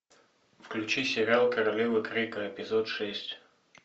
включи сериал королевы крика эпизод шесть